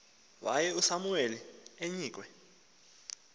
waye usamuweli eyinkwe